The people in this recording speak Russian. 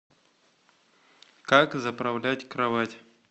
как заправлять кровать